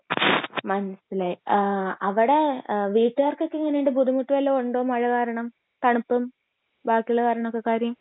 മനസിലായി ആഹ് അവിടെ എഹ് വീട്ടുകാർക്കൊക്കെ എങ്ങിനെ ഉണ്ട് ബുദ്ധിമുട്ട് വല്ലോം ഉണ്ടോ മഴ കാരണം തണുപ്പ് ബാക്കി ഉള്ള